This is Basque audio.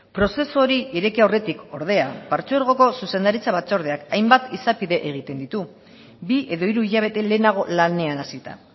prozesu hori ireki aurretik ordea patzuergoko zuzendaritza batzordeak hainbat izapide egiten ditu bi edo hiru hilabete lehenago lanean hasita